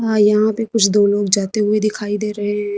आ यहां पे कुछ दो लोग जाते हुए दिखाई दे रहे हैं।